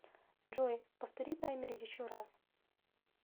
джой повтори таймер еще раз